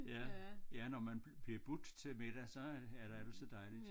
Ja ja når man bliver budt til middag så er det altid dejligt